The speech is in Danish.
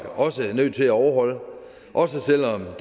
også nødt til at overholde også selv om